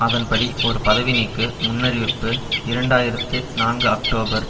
அதன்படி ஒரு பதவி நீக்கு முன்னறிவிப்பு இரண்டு ஆயிரத்து நான்கு அக்டோபர்